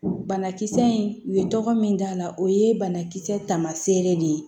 Banakisɛ in u ye tɔgɔ min d'a la o ye banakisɛ tamaseere de ye